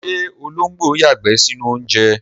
Ṣé ológbò yàgbẹ́ sínú oúnjẹ?